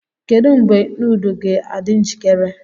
Kedu mgbe nudu ga-adị njikere?